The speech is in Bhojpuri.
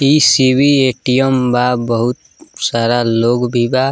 ई सी.बी. ए.टी.एम. बा बहुत सारा लोग भी बा।